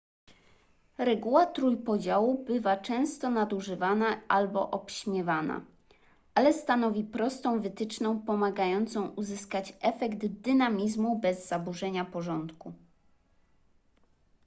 reguła trójpodziału bywa często nadużywana albo obśmiewana ale stanowi prostą wytyczną pomagająca uzyskać efekt dynamizmu bez zaburzenia porządku